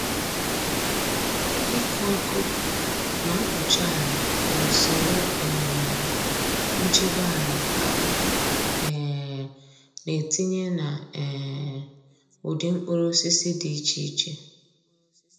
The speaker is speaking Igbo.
Ịkụ ọkụ na mkpuchi ala bụ usoro um nchebe ala a um na-etinye na um ụdị mkpụrụosisi dị iche iche.